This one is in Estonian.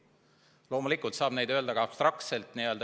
Loomulikult saab öelda ka abstraktselt.